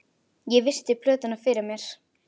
Ég virti plötuna fyrir mér.